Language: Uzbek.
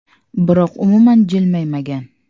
Biroq umuman jilmaymagan.